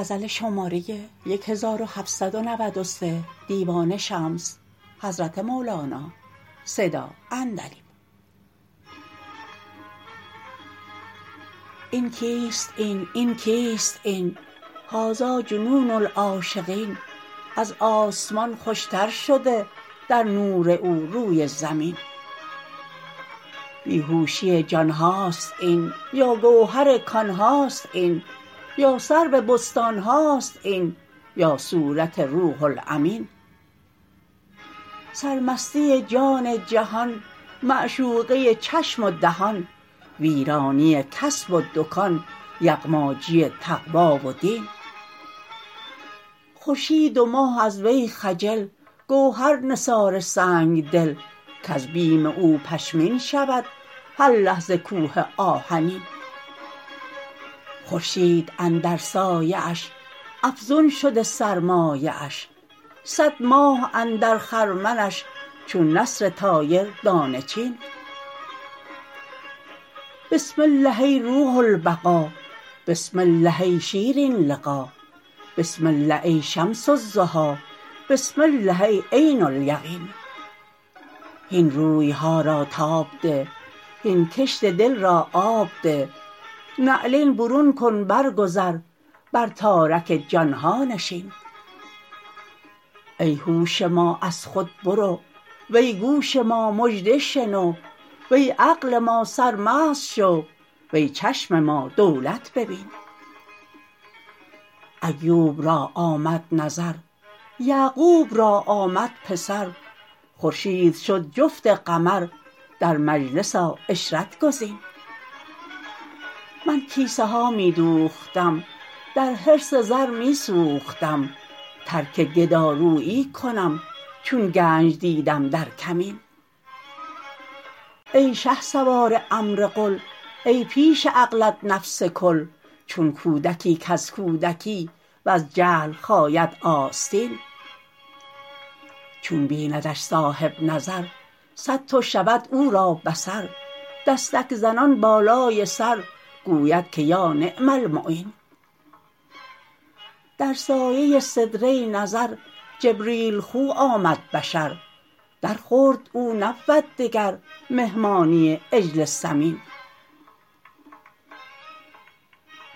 این کیست این این کیست این هذا جنون العاشقین از آسمان خوشتر شده در نور او روی زمین بی هوشی جان هاست این یا گوهر کان هاست این یا سرو بستان هاست این یا صورت روح الامین سرمستی جان جهان معشوقه چشم و دهان ویرانی کسب و دکان یغماجی تقوا و دین خورشید و ماه از وی خجل گوهر نثار سنگ دل کز بیم او پشمین شود هر لحظه کوه آهنین خورشید اندر سایه اش افزون شده سرمایه اش صد ماه اندر خرمنش چون نسر طایر دانه چین بسم الله ای روح البقا بسم الله ای شیرین لقا بسم الله ای شمس الضحا بسم الله ای عین الیقین هین روی ها را تاب ده هین کشت دل را آب ده نعلین برون کن برگذر بر تارک جان ها نشین ای هوش ما از خود برو وی گوش ما مژده شنو وی عقل ما سرمست شو وی چشم ما دولت ببین ایوب را آمد نظر یعقوب را آمد پسر خورشید شد جفت قمر در مجلس آ عشرت گزین من کیسه ها می دوختم در حرص زر می سوختم ترک گدارویی کنم چون گنج دیدم در کمین ای شهسوار امر قل ای پیش عقلت نفس کل چون کودکی کز کودکی وز جهل خاید آستین چون بیندش صاحب نظر صدتو شود او را بصر دستک زنان بالای سر گوید که یا نعم المعین در سایه سدره نظر جبریل خو آمد بشر درخورد او نبود دگر مهمانی عجل سمین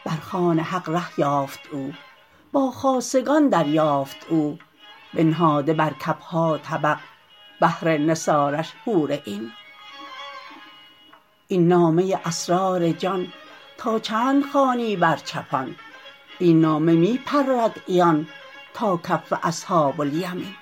بر خوان حق ره یافت او با خاصگان دریافت او بنهاده بر کف ها طبق بهر نثارش حور عین این نامه اسرار جان تا چند خوانی بر چپان این نامه می پرد عیان تا کف اصحاب الیمین